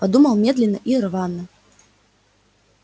подумал медленно и рвано